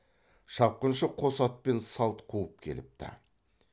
шапқыншы қос атпен салт қуып келіпті